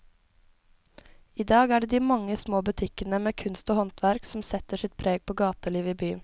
I dag er det de mange små butikkene med kunst og håndverk som setter sitt preg på gatelivet i byen.